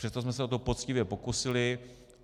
Přesto jsme se o to poctivě pokusili.